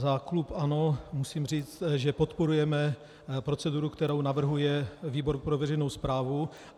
Za klub ANO musím říct, že podporujeme proceduru, kterou navrhuje výbor pro veřejnou správu.